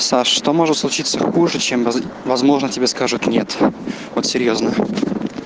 саша что может случиться хуже чем возможно тебе скажет нет вот серьёзно